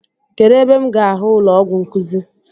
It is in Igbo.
Kedụ ebe m ga ahụ ụlọọgwụ nkuzi?